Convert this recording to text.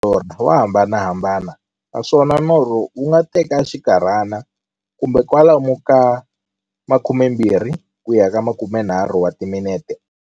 Nkarhi lowu tekiwaka loko munhu a lorha, wa hambanahambana, naswona norho wu nga teka xinkarhana, kumbe kwalomu ka 20-30 wa timinete.